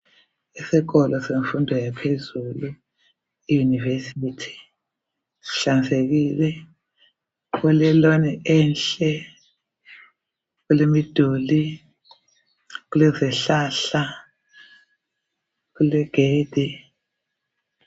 Isikolo semfundo yaphezulu iyunivesithi sihlanzekile. Kule lawn enhle, kulemiduli, kulezihlahla, kulegedi.